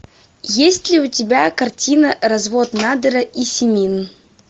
есть ли у тебя картина развод надера и симин